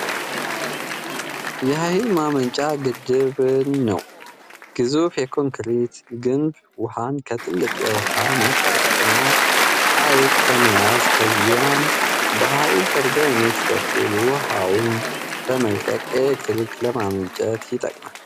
Gemini 2.5 Flash Conversation with Gemini በአማርኛ አብራራ 35 ቃላት ተጠቀም የኃይል ማመንጫ ግድብን ነው ። ግዙፍ የኮንክሪት ግንብ ውሃን ከትልቅ የውሃ ማጠራቀሚያ (ሀይቅ) በመያዝ፣ ከዚያም በኃይል ተርባይኖች በኩል ውሃውን በመልቀቅ ኤሌክትሪክ ለማመንጨት ይጠቅማል።